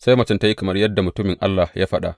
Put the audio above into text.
Sai macen ta yi kamar yadda mutumin Allah ya faɗa.